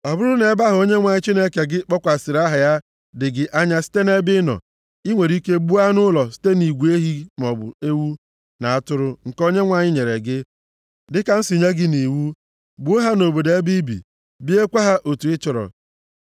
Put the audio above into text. Ọ bụrụ nʼebe ahụ Onyenwe anyị Chineke gị kpọkwasịrị aha ya dị gị anya site nʼebe i nọ, i nwere ike gbuo anụ ụlọ site nʼigwe ehi maọbụ ewu na atụrụ nke Onyenwe anyị nyere gị, dịka m si nye gị nʼiwu. Gbuo ha nʼobodo ebe i bi, riekwa ha otu ị chọrọ.